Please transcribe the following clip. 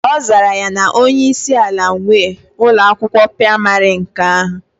Ozara ya na onye isi ala nwe Ụlọ akwụkwọ praịmarị nke ahu.